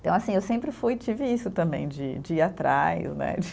Então, assim, eu sempre fui e tive isso também, de de ir atrás, né?